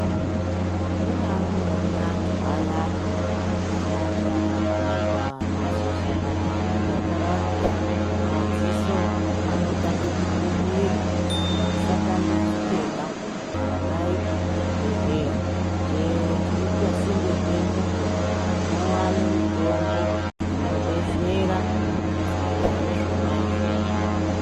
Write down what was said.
Kune amweni antu ayai anoti vakagume pamashizha yemujakaranda, madziso anotange kupupira. Musatambudzikeba ,rumbayipo kuzvibhedhlera chero chiripasinde penyupo munowane mitombo inodetsera kudziirira izvona izvozvo.